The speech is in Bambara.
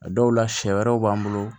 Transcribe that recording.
A dɔw la sɛ wɛrɛw b'an bolo